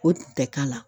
O tɛ k'a la